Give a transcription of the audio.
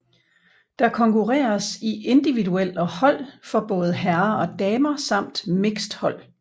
Der konkurreres i individuel og hold for både herrer og damer samt mixed hold